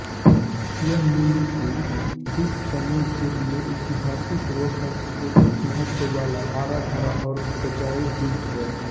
यह मालुकू द्वीपसमूह के लिये ऐतिहासिक व सांस्कृतिक महत्व वाला हराभरा और ऊपजाऊ द्वीप है